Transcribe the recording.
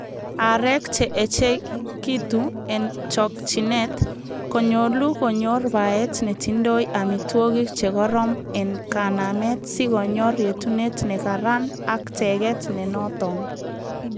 Aareek che echekitu en chokchinet, konyolu konyor baet netindoi amitwogik che koroon en kanameet sikonyor yetunet nekaran ak teget nenoton.